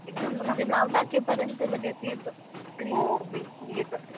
हम्म म्हणजे नाव टाकेपर्यंत लगेच येत screen